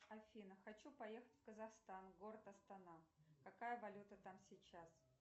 афина хочу поехать в казахстан город астана какая валюта там сейчас